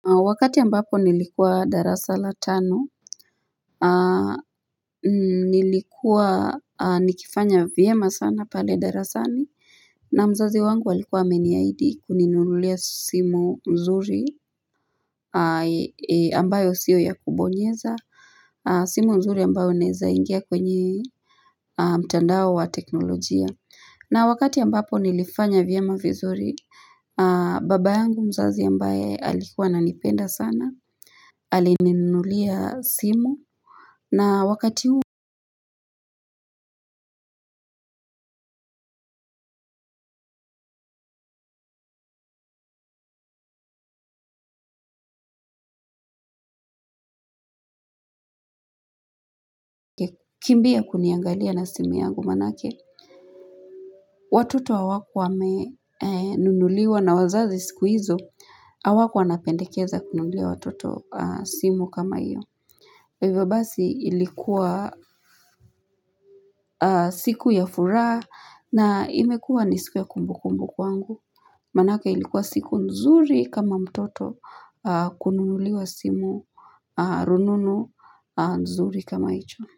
Wakati ambapo nilikuwa darasa la tano nilikuwa nikifanya vyema sana pale darasani na mzazi wangu alikuwa ameniahidi kuninunulia simu mzuri ambayo sio ya kubonyeza simu mzuri ambayo unaezaingia kwenye mtandao wa teknolojia na wakati ambapo nilifanya vyema vizuri baba yangu mzazi ambaye alikuwa ananipenda sana alininunulia simu na wakati huu kimbia kuniangalia na simu yangu manake watoto hawakuwa wame nunuliwa na wazazi siku hizo au wako anapendekeza kununulia watoto simu kama hiyo kwa hivyo basi ilikuwa siku ya furaha na imekua nisiku ya kumbu kumbu kwangu manake ilikuwa siku nzuri kama mtoto kununuliwa simu rununu nzuri kama hicho.